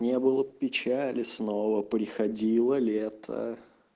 не было печали снова приходило лето